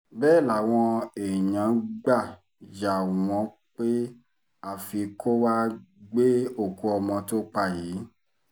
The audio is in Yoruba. bẹ́ẹ̀ làwọn èèyàn gbà yà wọ́n pé àfi kó wàá gbé òkú ọmọ tó pa yìí